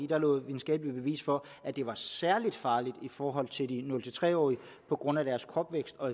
der lå videnskabeligt bevis for at det var særlig farligt i forhold til de nul tre årige på grund af deres kropsvækst og